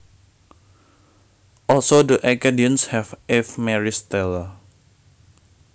Also the Acadians have Ave Maris Stella